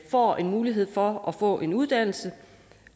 får en mulighed for at få en uddannelse